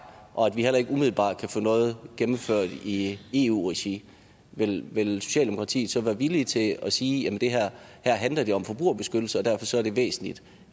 og vi heller ikke umiddelbart kan få noget gennemført i eu regi vil vil socialdemokratiet så være villig til at sige at her handler det om forbrugerbeskyttelse og derfor er det væsentligt